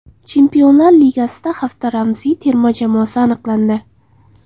Chempionlar Ligasida hafta ramziy terma jamoasi aniqlandi.